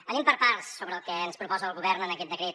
anem per parts sobre el que ens proposa el govern en aquest decret